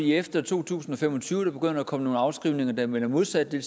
efter to tusind og fem og tyve begynder der at komme nogle afskrivninger der vender modsat og det